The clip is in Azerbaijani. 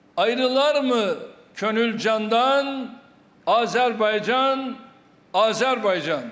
Ayrılar mı könül candan, Azərbaycan, Azərbaycan.